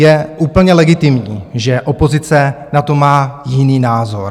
Je úplně legitimní, že opozice na to má jiný názor.